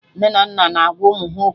Nne na nna na agwa ụmụ ha okwu